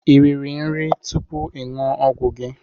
Ị riri nri tupu ị ṅụọ ọgwụ gị?